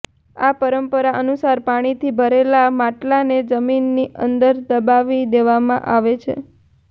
આ પરંપરા અનુસાર પાણીથી ભરેલા માટલાને જમીનની અંદર દબાવી દેવામાં આવે છે